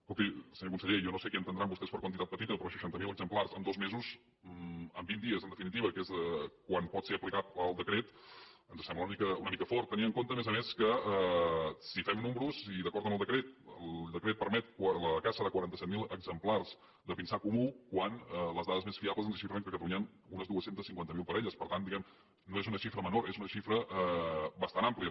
escolti senyor conseller jo no sé què entendran vostès per quantitat petita però seixanta mil exemplars en dos mesos en vint dies en definitiva que és quan pot ser aplicat el decret ens sembla una mica fort tenint en compte a més a més que si fem números i d’acord amb el decret el decret permet la caça de quaranta set mil exemplars de pinsà comú quan les dades més fiables ens xifren que a catalunya hi han unes dos cents i cinquanta miler parelles per tant diguem ne no és una xifra menor és una xifra bastant àmplia